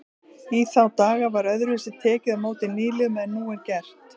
Í þá daga var öðruvísi tekið á móti nýliðum en nú er gert.